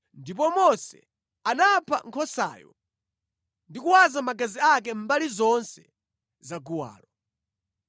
Ndipo Mose anapha nkhosayo ndi kuwaza magazi ake mbali zonse zaguwalo.